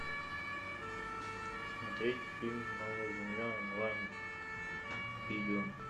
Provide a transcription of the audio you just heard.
смотреть фильм новая земля онлайн видео